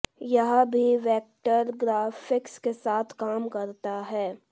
यह भी vector graphics के साथ काम करता है